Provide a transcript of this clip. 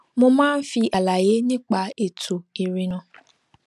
mo máa ń fi àlàyé nípa ètò ìrìnnà